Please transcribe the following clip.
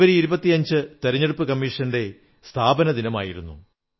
ജനുവരി 25 തിരഞ്ഞെടുപ്പു കമ്മീഷന്റെ സ്ഥാപനദിനമായിരുന്നു